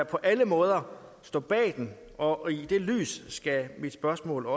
på alle måder stå bag den og også i det lys mit spørgsmål